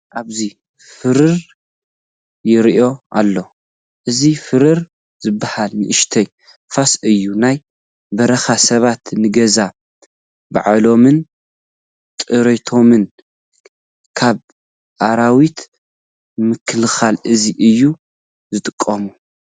ኣብዚ ፈራር ይርአ ኣሎ፡፡ እዚ ፈራር ዝበሃል ንኡሽተይ ፋስ እዩ፡፡ ናይ በረኻ ሰባት ንገዛ ባዕሎምን ጥሪቶምን ካብ ኣራዊት ንምክልኻል እዚ እዮም ዝጥቀሙ፡፡